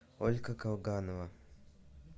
ольга колганова